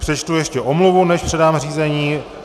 Přečtu ještě omluvu, než předám řízení.